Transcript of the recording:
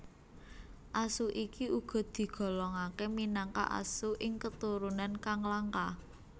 Asu iki uga digolongake minangka asu ing keturunan kang langka